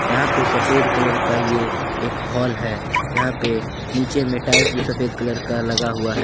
यहां पे सफेद कलर का ये एक हाल है यहां पे नीचे में टाइल्स भी सफेद कलर का लगा हुआ है।